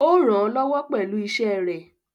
Ó rànán lọ́wọ́ pẹ̀lú iṣẹ́ ẹ̀.